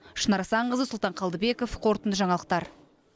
шынар асанқызы сұлтан қалдыбеков қорытынды жаңалықтар